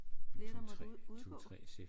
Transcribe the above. Flere der måtte ud udgå